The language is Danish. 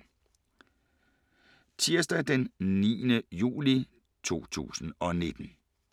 Tirsdag d. 9. juli 2019